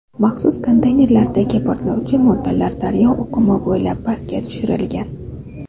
Maxsus konteynerlardagi portlovchi moddalar daryo oqimi bo‘ylab pastga tushirilgan.